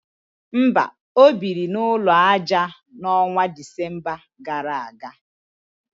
mba, o biri n’ụlọ aja, n’ọnwa Disemba gara aga